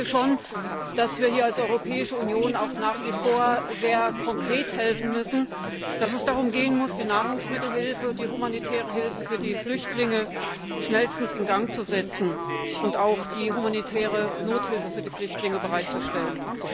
Ich denke, dass wir als Europäische Union nach wie vor sehr konkret helfen müssen und dass es darum gehen muss, die Nahrungsmittelhilfe und die humanitäre Hilfe für die Flüchtlinge schnellstens in Gang zu setzen und die humanitäre Nothilfe für die Flüchtlinge bereitzustellen.